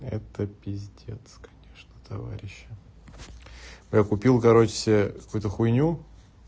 это пиздец конечно товарищи я купил короче себе какую-то хуйню